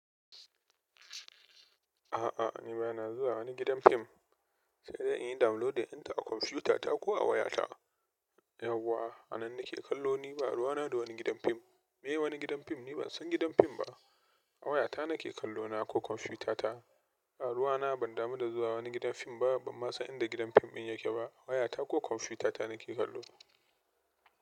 A'a, ni ba na zuwa wani gidan fim, sai dai in yi downloading ɗinta a kwamfutata ko a wayata. Yawwa, a nan nake kallo, ni ba ruwa na da wani gidan fim. Meye wani gidan fim? Ni ban san gidan fim ba. A wayata nake kallo na ko kwamfutata. Ba ruwana, ban damu da zuwa wani gidan fim ba, ban ma san inda gidan fim din yake ba wayata ko komfutata nake kallo.